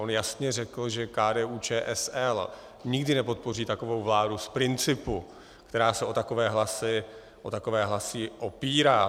On jasně řekl, že KDU-ČSL nikdy nepodpoří takovou vládu z principu, která se o takové hlasy opírá.